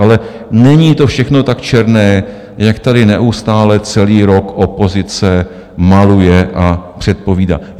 Ale není to všechno tak černé, jak tady neustále celý rok opozice maluje a předpovídá.